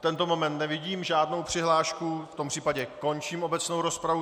V tento moment nevidím žádnou přihlášku, v tom případě končím obecnou rozpravu.